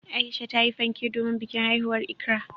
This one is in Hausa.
Aisha tayi fanke domin bikin haihuwar Ikra.